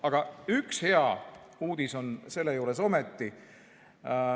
Aga üks hea uudis on selle juures ometi.